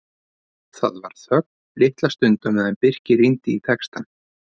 Það var þögn litla stund á meðan Birkir rýndi í textann.